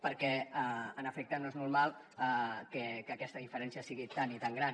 perquè en efecte no és normal que aquesta diferència sigui tan i tan gran